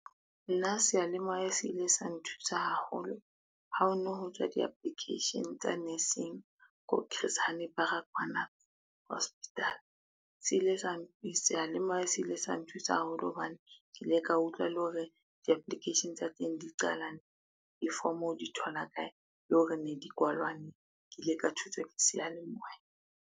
Nna seyalemoya se ile sa nthusa haholo, ha ho no ho tswa di-application tsa nursing ko Chris Hani Baragwana hospital. Seyalemoya se ile sa nthusa haholo hobane ke ile ka utlwa le hore di-application tsa teng di qala, difomo di thola kae le hore ne di kwalwa neng. Ke ile ka thuswa ke seyalemoya.